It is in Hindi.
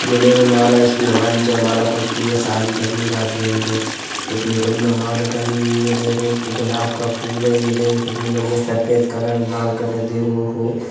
यह देखो यह माला जैसी हमारी जय माला पड़ती है शादी करने जाते हैं तो। कितनी बड़ी माला टंगी हैं देखो गुलाब का फूल है। यह देखो कितनी बढ़िया सफ़ेद कलर लाल कलर देखो ओ हो--